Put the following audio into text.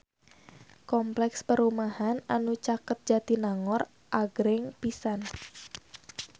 Kompleks perumahan anu caket Jatinangor agreng pisan